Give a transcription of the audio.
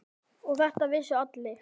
Og þetta vissu allir.